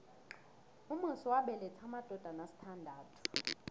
umusi wabeletha amadodana asithandathu